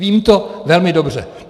Vím to velmi dobře.